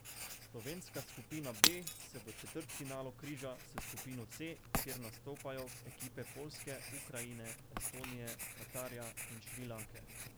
Slovenska skupina B se v četrtfinalu križa s skupino C, kjer nastopajo ekipe Poljske, Ukrajine, Estonije, Katarja in Šrilanke.